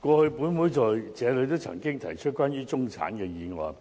過去本會在這裏也曾提出關於中產的議案，